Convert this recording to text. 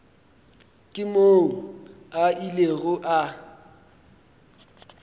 ke moo a ilego a